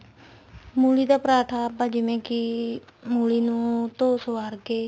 ਮੂਲੀ ਦਾ ਪਰਾਂਠਾ ਆਪਾਂ ਜਿਵੇਂ ਕੀ ਮੂਲੀ ਨੂੰ ਧੋ ਸਵਾਰ ਕੇ